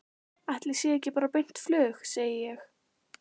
Ætli sé ekki bara beint flug, segi ég.